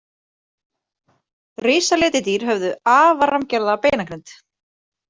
Risaletidýr höfðu afar rammgerða beinagrind.